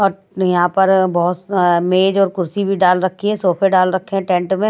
और यहां पर बहुत मेज और कुर्सी भी डाल रखी है सोफे डाल रखे हैं टेंट में--